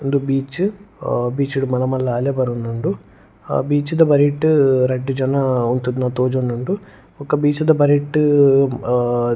ಉಂದು ಬೀಚ್ ಆ ಬೀಚ್ಡ್ ಮಲ್ಲ ಮಲ್ಲ ಅಲೆ ಬರೊಂದುಂಡು ಅ ಬೀಚ್ ದ ಬರಿಟ್ ರಡ್ಡ್ ಜನ ಉಂತುದ್ನ ತೋಜೊಂದುಂಡು ಬೊಕ ಬೀಚ್ ದ ಬರಿಟ್.